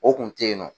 O kun tɛ yen nɔ